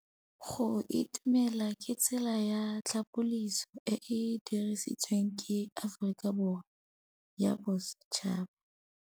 Go itumela ke tsela ya tlhapolisô e e dirisitsweng ke Aforika Borwa ya Bosetšhaba.